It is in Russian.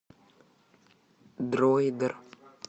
дроидер